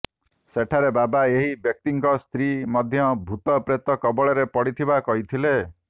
ସେଠାରେ ବାବା ଏହି ବ୍ୟକ୍ତିଙ୍କ ସ୍ତ୍ରୀ ମଧ୍ୟ ଭୂତ ପ୍ରେତ କବଳରେ ପଡ଼ିଥିବା କହିଥିଲେ